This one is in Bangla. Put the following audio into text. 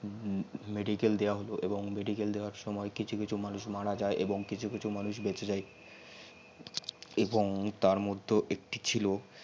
medical দেয়াওয়া হল এবং medical দেওয়ার সমই কিছু কিছু কিছু মানুষ মারা যাই এবং কিছু কিছু মানুষ বেচে যাই এবং তার মধ্যেও একটি ছিল